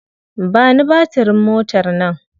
Ba ni batirin motar nan.